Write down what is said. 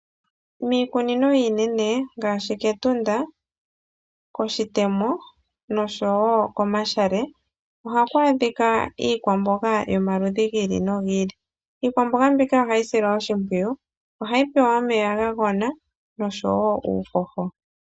Miikunino iinene ngaashi ketunda, koshitemo nosho wo komashale ohaku adhika iikwamboga yomaludhi gi ili nogi ili, iikwamboga mbika ohayi silwa oshimpwiyu, ohayi pewa omeya ga gwana nosho wo uuhoho.